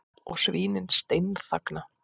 Og svínin steinþagna.